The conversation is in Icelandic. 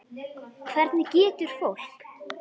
Hvernig getur fólk.